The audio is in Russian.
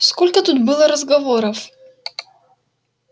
сколько тут было разговоров